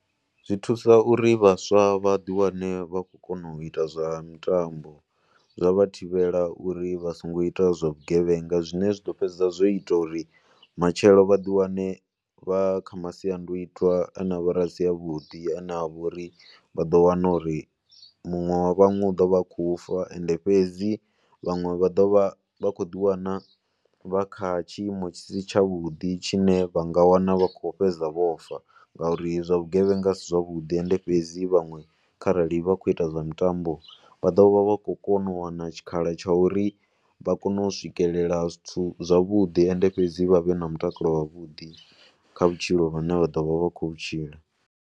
Zwi thusa uri vhaswa vha ḓiwane vha khou kona u ita zwa mitambo, zwa vha thivhela uri vha songo ita zwa vhugevhenga zwine zwi ḓo fhedzisa zwo ita uri matshelo vha ḓiwane vha kha masiandaitwa a ne a vha uri a si avhuḓi. A ne a vha uri vha ḓo wana uri muṅwe wa vhaṅwe u ḓo vha a khou fa. Ende fhedzi vhaṅwe vha ḓo vha vha khou ḓiwana vha kha tshiimo tshi si tshavhuḓi tshine vha nga wana vha khou fhedza vho fa ngauri zwa vhugevhenga a si zwavhuḓi. Ende fhedzi vhaṅwe kharali vha khou ita zwa mitambo vha ḓo vha vha khou kona u wana tshikhala tsha uri vha kone u swikelela zwithu zwavhuḓi ende fhedzi vha vha vhe na mutakalo wavhuḓi kha vhutshilo vhune vha ḓo vha vha khou vhu tshila.